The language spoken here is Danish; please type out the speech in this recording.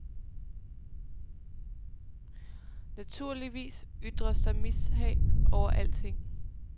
Naturligvis ytres der mishag over alting.